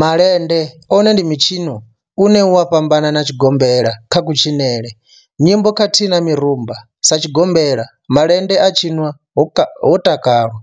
Malende one ndi mitshino une u a fhambana na tshigombela kha kutshinele, nyimbo khathihi na mirumba. Sa tshigombela, malende a tshinwa ho takalwa,